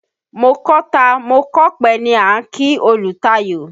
Mo kọ́ta mo kópè ni a ń kí olùtayò.